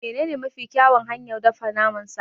Menene mafi kyawun hanyar dafa naman sa?